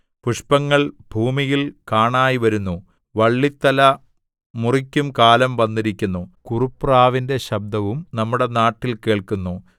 പുഷ്പങ്ങൾ ഭൂമിയിൽ കാണായ്‌വരുന്നു വള്ളിത്തല മുറിക്കുംകാലം വന്നിരിക്കുന്നു കുറുപ്രാവിന്റെ ശബ്ദവും നമ്മുടെ നാട്ടിൽ കേൾക്കുന്നു